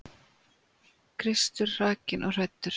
Kristur hrakinn og hæddur.